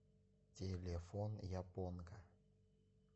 телефон японка